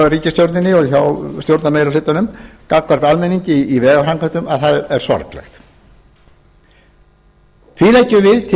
ríkisstjórninni og hjá stjórnarmeirihlutanum gagnvart almenningi í vegaframkvæmdum að það er sorglegt því leggjum við til